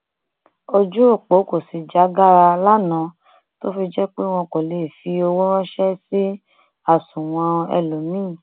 ojú ọpọ kò sì já gaara lánàá tó fi jẹ pé wọn kò lè fi owó ránṣẹ sí àsùnwọn ẹlòmíín